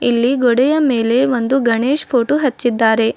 ಇಲ್ಲಿ ಗೋಡೆಯ ಮೇಲೆ ಒಂದು ಗಣೇಶ್ ಪೋಟೋ ಹಚ್ಚಿದ್ದಾರೆ.